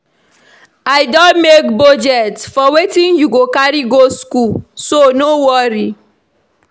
I don make budget for wetin you go carry go school so no worry